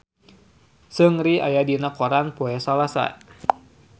Seungri aya dina koran poe Salasa